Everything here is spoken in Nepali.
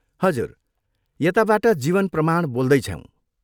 हजुर, यताबाट जीवन प्रमाण बोल्दैछौँ।